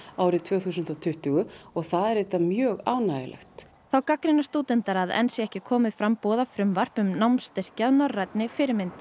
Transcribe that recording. árið tvö þúsund og tuttugu og það er mjög ánægjulegt þá gagnrýna stúdentar að enn sé ekki komið fram boðað frumvarp um námsstyrki að norrænni fyrirmynd